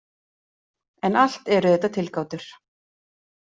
En allt eru þetta tilgátur.